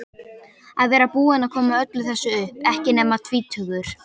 Að vera búinn að koma öllu þessu upp, ekki nema tvítugur.